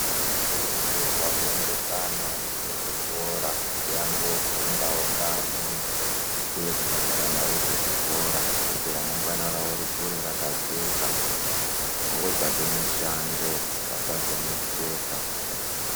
Tinokurudzirwawo kuenda vana vedu kuzvikora kuti vanofunda nevamweni uye kubhadhara mare dzezvikora kuti ramangwana rawo rikure rakajeka votsvaga mishando vasazoneseka.